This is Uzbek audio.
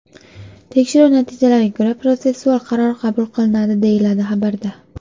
Tekshiruv natijalariga ko‘ra protsessual qaror qabul qilinadi”, deyiladi xabarda.